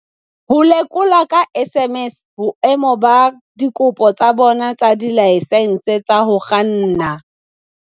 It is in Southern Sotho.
Ho lekola ka SMS boemo ba dikopo tsa bona tsa dilaesense tsa ho kganna